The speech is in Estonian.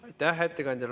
Aitäh ettekandjale!